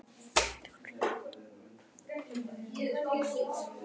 Thors varða við siðareglur blaðamanna og sendi erindi til siðanefndar